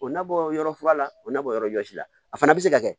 O nabɔ yɔrɔ fura la o na bɔ yɔrɔ jɔsi la a fana bɛ se ka kɛ